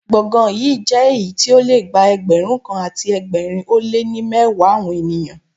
Gbọ̀ngàn yí jẹ́ èyí tí ó le gba Ẹgbẹ̀rún kan àti ẹgbẹ̀rin ó lé ní mẹ́wàá àwọn ènìyàn.